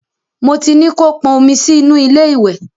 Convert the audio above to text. Mo ti ní kó pọn omi sí inú ilé ìwẹ̀.